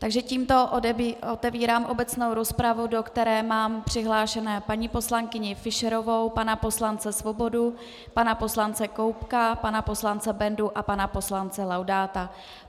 Takže tímto otevírám obecnou rozpravu, do které mám přihlášené paní poslankyni Fischerovou, pana poslance Svobodu, pana poslance Koubka, pana poslance Bendu a pana poslance Laudáta.